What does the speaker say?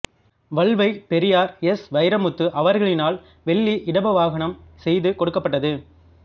வல்வைப் Periyar S Vairamuthu அவர்களினால் வெள்ளி இடபவாகனம் செய்து கொடுக்கப்பட்டது